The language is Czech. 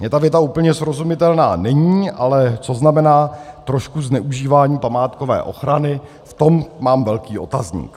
- Mně ta věta úplně srozumitelná není, ale co znamená trošku zneužívání památkové ochrany, v tom mám velký otazník.